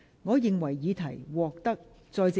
我宣布議案獲得通過。